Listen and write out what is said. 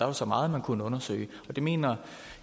er så meget der kunne undersøges det mener